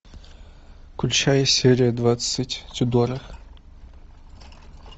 включай серия двадцать тюдоры